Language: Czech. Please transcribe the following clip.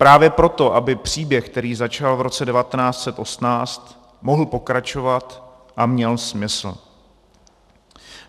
Právě proto, aby příběh, který začal v roce 1918, mohl pokračovat a měl smysl.